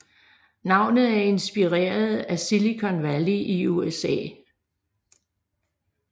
Navnet er inspireret af Silicon Valley i USA